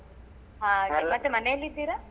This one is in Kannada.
ಹಾಗೆ ಮತ್ತೆ ಮನೆಲ್ಲಿದ್ದೀರಾ?